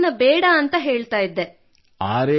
ನನಗೆ ಈ ಜೀವನ ಬೇಡವೆಂದು ಹೇಳುತ್ತಿದ್ದೆ